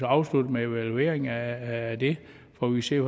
afsluttes med en evaluering af det hvor vi ser